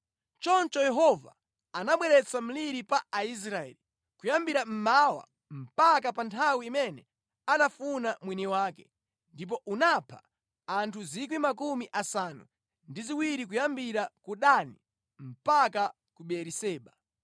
Choncho Yehova anabweretsa mliri pa Aisraeli, kuyambira mmawa mpaka pa nthawi imene anafuna mwini wake, ndipo unapha anthu 70,000 kuyambira ku Dani mpaka ku Beeriseba.